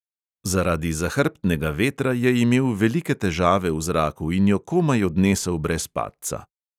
Zaradi zahrbtnega vetra je imel velike težave v zraku in jo komaj odnesel brez padca.